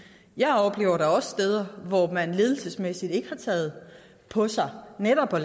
jeg oplever da også steder hvor man ledelsesmæssigt ikke har taget på sig netop at